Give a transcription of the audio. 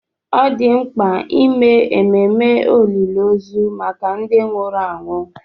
Ọ dị mkpa ime ememe olili ozu maka ndị nwụrụ anwụ.